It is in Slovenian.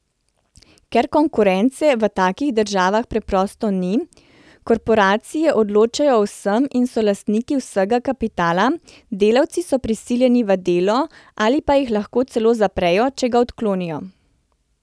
Ker konkurence v takih državah preprosto ni, korporacije odločajo o vsem in so lastniki vsega kapitala, delavci so prisiljeni v delo ali pa jih lahko celo zaprejo, če ga odklonijo.